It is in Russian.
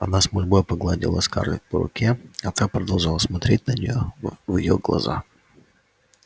она с мольбой погладила скарлетт по руке а та продолжала смотреть на нее в в её глаза